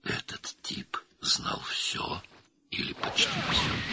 Bu adam hər şeyi, ya da demək olar ki, hər şeyi bilirdi.